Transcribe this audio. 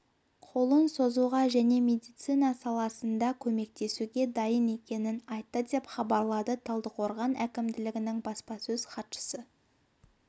қолын созуға және медицина саласында көмектесуге дайын екенін айтты деп хабарлады талдықорған әкімдігінің баспасөз хатшысы